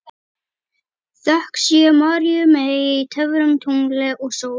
Þökk sé Maríu mey, töfrum, tungli og sól.